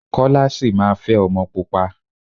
Kọ́lá sì máa fẹ́ ọmọ pupa.